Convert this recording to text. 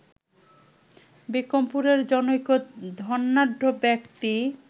বিক্রমপুরের জনৈক ধনাঢ্য ব্যক্তি